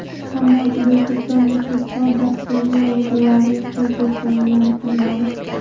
Ammo juda ko‘plab muxlislar dasturni o‘zlarining qo‘l telefoniga muhrladi.